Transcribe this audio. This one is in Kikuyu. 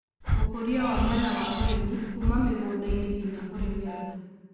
ũkũria wa mwena wa ũrĩmi-kũma mĩgũnda-inĩ nginya kũrĩ metha